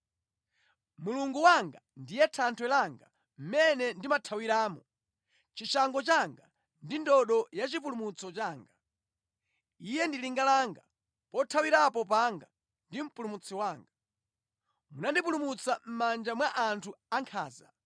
Mulungu wanga ndiye thanthwe langa, mʼmene ndimathawiramo, chishango changa ndi ndodo yachipulumutso changa. Iye ndi linga langa, pothawirapo panga ndi mpulumutsi wanga. Munandipulumutsa mʼmanja mwa anthu ankhanza.